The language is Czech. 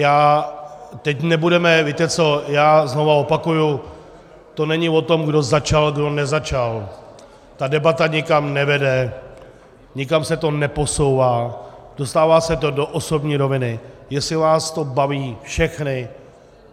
Já znovu opakuju, to není o tom, kdo začal, kdo nezačal, ta debata nikam nevede, nikam se to neposouvá, dostává se to do osobní roviny, jestli vás to baví, všechny...